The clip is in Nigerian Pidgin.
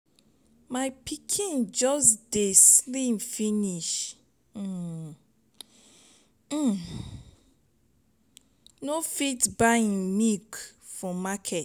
my pikin just dey slim finish. um um no fit buy im milk for market.